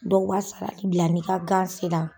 Dɔw b'a sa bila n'i ka gan sera